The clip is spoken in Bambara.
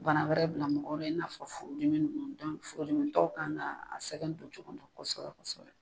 Bana wɛrɛ bila mɔgɔw bɛ in n'a fɔ furu dimi ninnu dɔnku furudimi tɔ kan ka